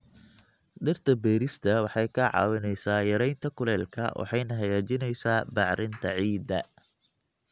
Dhirta beerista waxay kaa caawinaysaa yaraynta kulaylka waxayna hagaajinaysaa bacrinta ciidda.